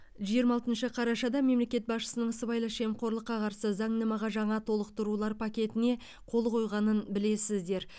жиырма алтыншы қарашада мемлекет басшысының сыбайлас жемқорлыққа қарсы заңнамаға жаңа толықтырулар пакетіне қол қойғанын білесіздер